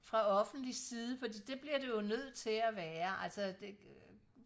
fra offentlig side fordi det bliver det jo nødt til at være altså det øh